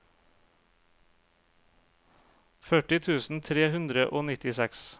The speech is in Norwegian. førti tusen tre hundre og nittiseks